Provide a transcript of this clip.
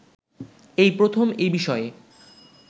এই প্রথম এ বিষয়ে